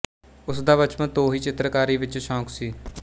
ਉਸ ਦਾ ਬਚਪਨ ਤੋਂ ਹੀ ਚਿੱਤਰਕਾਰੀ ਵਿੱਚ ਸ਼ੌਕ ਸੀ